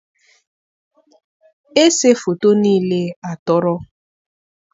ese foto niile atọrọ.